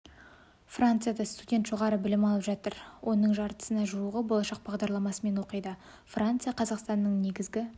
францияда студент жоғары білім алып жатыр оның жартысына жуығы болашақ бағдарламасымен оқиды франция қазақстанның негізгі